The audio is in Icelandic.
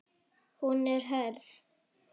Hún er hörð.